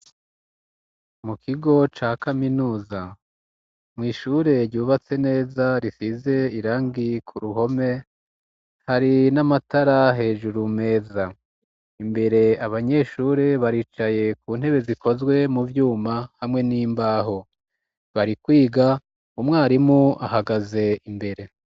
Mu kigo ca kaminuza, mw'ishure ryubatse neza, rifise irangi ku ruhome, hari n'amatara hejuru meza. Imbere abanyeshure baricaye ku ntebe zikozwe mu vyuma hamwe n'imbaho. Bari kwiga umwarimu ahagaze imbere.